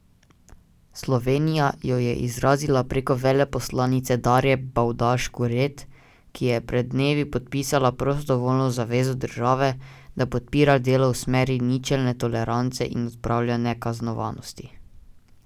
Slovenija jo je izrazila preko veleposlanice Darje Bavdaž Kuret, ki je pred dnevi podpisala prostovoljno zavezo države, da podpira delo v smeri ničelne tolerance in odprave nekaznovanosti.